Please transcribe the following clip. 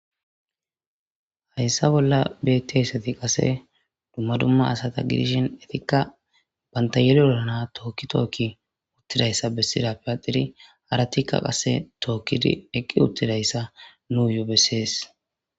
Hayssa bolla beththiya asathi qase dumma dumma asatha gidishin ethikka banththa yeliro na7a thookki thookki uththidayssa bessidaappe aaxxidi harathikka qase thookkidi eqqi uththidayssa nuuyoo bessees.